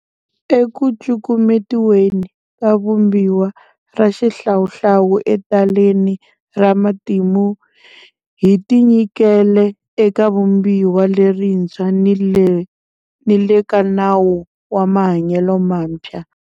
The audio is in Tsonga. Ekucukumetiweni ka Vumbiwa ra xihlawuhlawu etaleni ra matimu hi tinyikele eka Vumbiwa lerintshwa ni le ka nawu wa mahanyelo mantshwa.